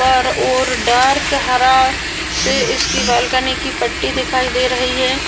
पर और डार्क हरा से इसकी बाल्कनी की पट्टी दिखाई दे रही है।